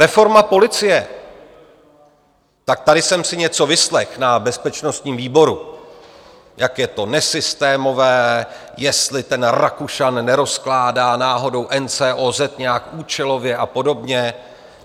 Reforma policie - tak tady jsem si něco vyslechl na bezpečnostním výboru, jak je to nesystémové, jestli ten Rakušan nerozkládá náhodou NCOZ nějak účelově a podobně.